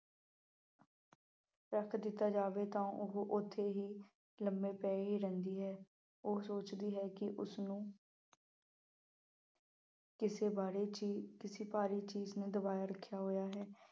ਰੱਖ ਦਿੱਤਾ ਜਾਵੇ ਤਾਂ ਉਹ ਉੱਥੇ ਹੀ ਲੰਬੀ ਪਈ ਰਹਿੰਦੀ ਹੈ। ਉਹ ਸੋਚਦੀ ਹੈ ਕਿ ਉਸਨੂੰ ਇਸੇ ਵਾੜੇ ਚ ਹੀ ਕਿਸੇ ਭਾਰੀ ਚੀਜ਼ ਨੇ ਦਬਾਈ ਰੱਖਿਆ ਹੋਇਆ ਹੈ।